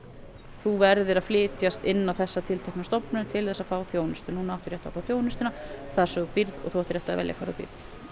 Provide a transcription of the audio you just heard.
þú verðir að flytjast inn á þessa tilteknu stofnun til að fá þjónustu núna áttu rétt á að fá þjónustuna þar sem þú býrð og þú átt rétt á að velja hvar þú býrð